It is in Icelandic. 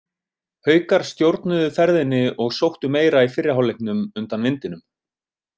Haukar stjórnuðu ferðinni og sóttu meira í fyrri hálfleiknum undan vindinum.